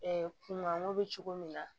kun manko bɛ cogo min na